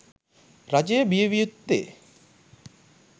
රජය බිය විය යුත්තේ